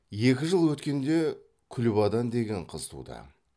екі жыл өткенде күлбадан деген қыз туды